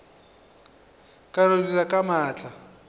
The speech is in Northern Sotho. ba no dira ka maatla